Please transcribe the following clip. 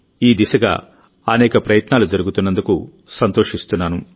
ఈ దిశగా అనేక ప్రయత్నాలు జరుగుతున్నందుకు సంతోషిస్తున్నాను